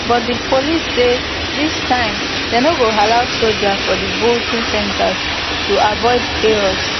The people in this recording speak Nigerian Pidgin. but di police say dis time dem no go allow soldiers for di voting centres to avoid chaos